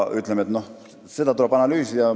Seda tuleb analüüsida.